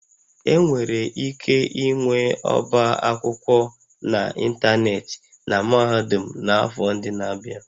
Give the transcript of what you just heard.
Enwere ike ịnwe ọba akwụkwọ n'ịntanetị na mahadum n'afọ ndị na-abịa